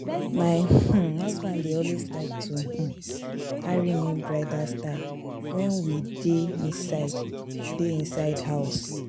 My um husband dey always like to um carry me bridal style wen we dey inside dey inside house